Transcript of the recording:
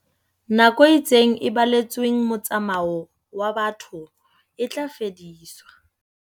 Nako e itseng e baletsweng motsamao wa batho e tla fediswa.